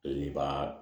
I b'a